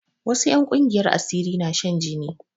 Wasu 'yan ƙungiyar asiri na shan jini